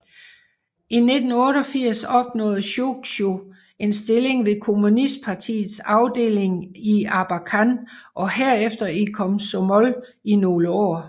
I 1988 opnåede Sjojgu en stilling ved kommunistpartiets afdeling i Abakan og herefter i Komsomol i nogle år